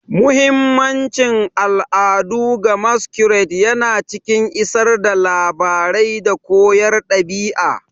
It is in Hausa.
Muhimmancin al'adu ga Masquerades yana cikin isar da labarai da koyarwar ɗabi'a.